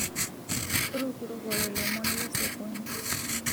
Rukurukore lomon lesokoni